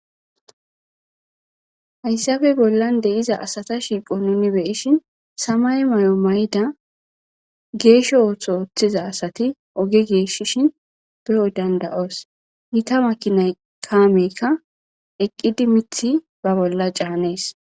Haysappe bollan shiqida asa shiiqo nu samaye Mayo mayida gesho otho othiza asati oge gigisishin beyo dandayos gitta makinay kameyka eqidi mithi be bolla canes